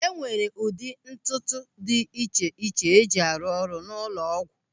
E nwere ụdị ntụtụ dị iche iche e ji arụ ọrụ n'ụlọ ọgwụ.